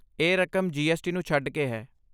ਇਹ ਰਕਮ ਜੀ.ਐੱਸ.ਟੀ. ਨੂੰ ਛੱਡ ਕੇ ਹੈ।